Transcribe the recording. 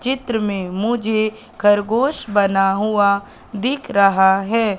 चित्र में मुझे खरगोश बना हुआ दिख रहा है।